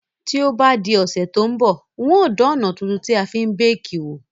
To bá di òsẹ̀ to n bọ̀, n o dan òná tuntun tí a fi n bake wò